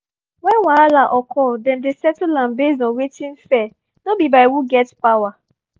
when wahala occur dem dey settle am based on wetin fair no be by who get power